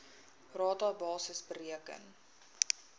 rata basis bereken